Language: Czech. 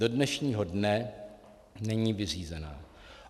Do dnešního dne není vyřízena.